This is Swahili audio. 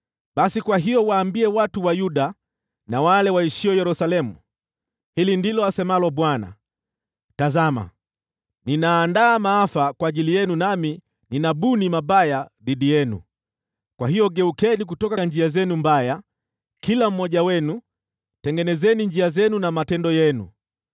“Basi kwa hiyo waambie watu wa Yuda na wale waishio Yerusalemu, ‘Hili ndilo asemalo Bwana : Tazama! Ninaandaa maafa kwa ajili yenu, nami ninabuni mabaya dhidi yenu. Kwa hiyo geukeni kutoka njia zenu mbaya, kila mmoja wenu, tengenezeni njia zenu na matendo yenu.’